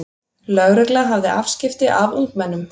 Lögregla hafði afskipti af ungmennum